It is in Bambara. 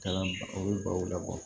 Kalan o bɛ baw labɔ